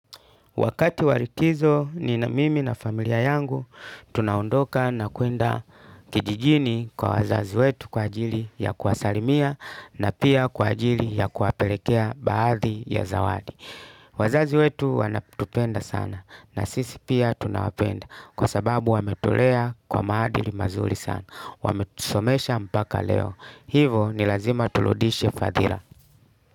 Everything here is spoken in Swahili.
Wakati walikizo ni na mimi na familia yangu, tunaondoka na kuenda kijijini kwa wazazi wetu kwa ajili ya kuwasalimia na pia kwa ajili ya kuwapelekea baadhi ya zawadi. Wazazi wetu wanatupenda sana na sisi pia tunawapenda kwa sababu wametulea kwa maadili mazuri sana. Wametusomesha mpaka leo. Hivo nilazima tuludishe fadhila.